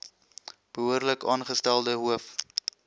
behoorlik aangestelde hoof